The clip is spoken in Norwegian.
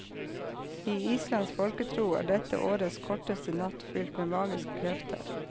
I islandsk folketro er dette årets korteste natt fyllt med magiske krefter.